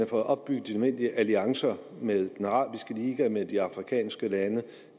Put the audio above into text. fået opbygget de nødvendige alliancer med den arabiske liga med de afrikanske lande